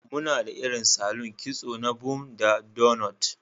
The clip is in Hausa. Muna da irin salon kitso na bun da doughnuts.